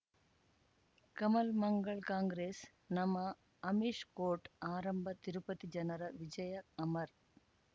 ಕಮಲ್ ಮಂಗಳ್ ಕಾಂಗ್ರೆಸ್ ನಮಃ ಅಮಿಷ್ ಕೋರ್ಟ್ ಆರಂಭ ತಿರುಪತಿ ಜನರ ವಿಜಯ ಅಮರ್